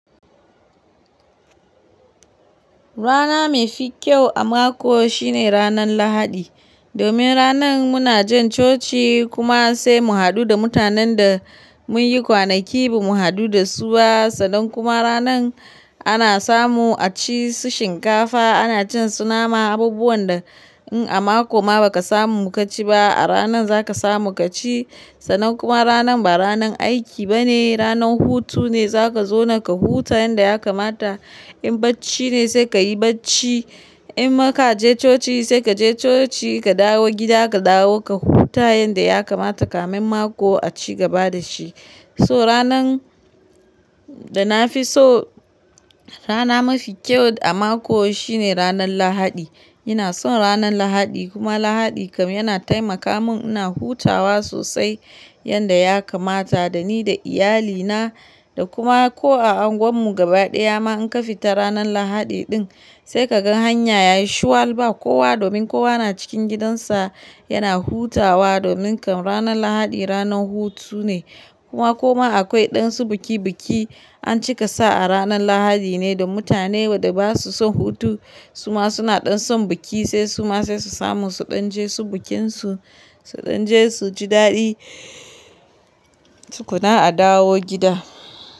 Rana mafi kyau a mako shine ranan lahadi. Domin ranan muna jan coci kuma sai mu hadu da mutanen da mun yi kwanaki ba mu hadu da su ba. Sannan kuma ranan ana samu a ci su shinkafa ana cin su nama abubuwan da in a mako ma ba ka samu ka ci ba a ranan za ka samu ka ci. Sannan kuma ranan ba ranan aiki ba ne ranan hutu ne za ka zauna ka huta yanda ya kamata. In bacci ne sai ka yi bacci. Inma ka je coci sai ka je coci ka dawo gida ka dawo ka huta yanda ya kamata kamin mako a ci gaba da shi. So ranan da na fi so rana mafi kyau a mako shine ranan lahadi. Ina son ranan lahadi kuma lahadi kam yana taimaka mun ina hutawa sosai yanda ya kamata da ni da iyalina da kuma ko a anguwan mu gaba daya ma in ka fita ranan lahadi din sai ka gan hanya yayi shuwal ba. Kowa domin kowa na cikin gidansa yana hutawa domin kam ranan lahadi ranan hutu ne. Kuma koma akwai ɗan su biki biki an cika sa a ranan lahadi ne da mutane waɗa ba su son hutu suma suna ɗan son biki sai suma sai su samu su ɗan je su bikinsu su ɗan je su ji daɗi su tukuna a dawo gida.